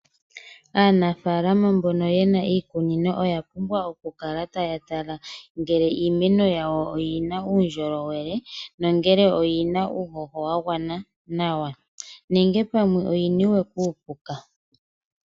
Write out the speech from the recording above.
Aanafalama mbono yena iikunino oya pumbwa okukala taya tala ngele iimeno yawo oyina uundjolowele, nongele oyina uuhoho wa gwana nawa, nenge ngele pamwe oyina uupuka.